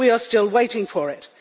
we are still waiting for it.